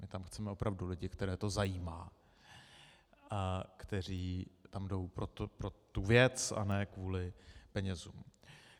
My tam chceme opravdu lidi, které to zajímá, kteří tam jdou pro tu věc, a ne kvůli penězům.